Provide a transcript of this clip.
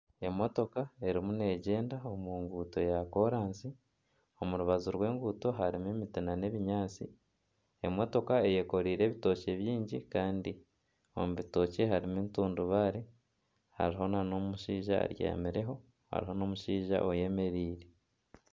Emotoka erimu neegyenda omu nguuto yakoraasi. Omu rubaju rw'enguuto harimu ebinyaatsi. Emotoka eyekoreire ebitookye bingi kandi omu bitookye harimu entundubaare, hariho nana omushaija obyamireho, hariho n'omushaija oyemereire.